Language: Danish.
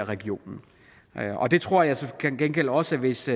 regionen der tror jeg til gengæld også at hvis